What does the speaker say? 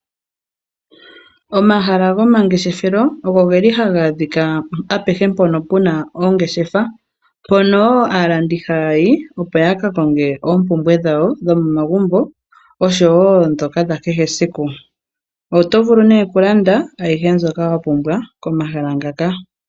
Omahala gomangeshefelo oge li ha ga adhika apehe mpono pu na oongeshefa, mpono wo aalandi haya yi, opo ya ka konge oompumbwe dhawo dhomomagumbo oshowo ndhoka dha kehe esiku. Oto vulu nee okulanda ayihe mbyoka wa pumbwa komahala ngaka.